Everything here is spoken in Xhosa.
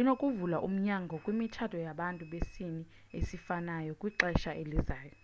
inokuvula umnyango kwimitshato yabantu besini esifanayou kwixesha elizayo